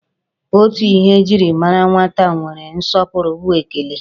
Otu ihe e jiri mara nwata nwere nsọpụrụ bụ ekele.